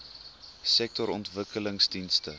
sektorontwikkelingdienste